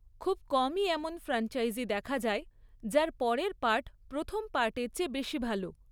খুব কমই এমন ফ্র্যানচাইজি দেখা যায় যার পরের পার্ট প্রথম পার্টের চেয়ে বেশি ভালো।